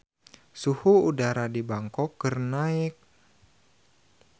Suhu udara di Bangkok keur naek